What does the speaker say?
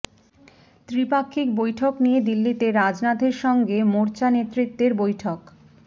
ত্রিপাক্ষিক বৈঠক নিয়ে দিল্লিতে রাজনাথের সঙ্গে মোর্চা নেতৃত্বের বৈঠক